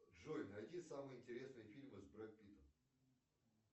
джой найди самые интересные фильмы с бред питом